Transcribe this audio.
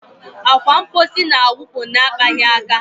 Akwa mposi na-awụpụ na-akpaghị aka.